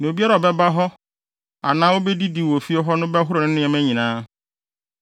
Na obiara a ɔbɛda hɔ anaa obedidi wɔ fie hɔ no bɛhoro ne nneɛma nyinaa.